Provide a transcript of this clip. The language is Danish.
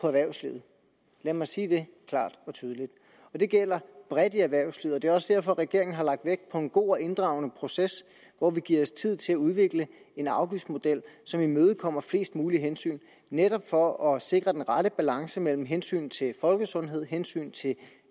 erhvervslivet lad mig sige det klart og tydeligt det gælder bredt i erhvervslivet og det er også derfor at regeringen har lagt vægt på en god og inddragende proces hvor vi giver os tid til at udvikle en afgiftsmodel som imødekommer flest mulige hensyn netop for at sikre den rette balance mellem hensyn til folkesundhed hensyn til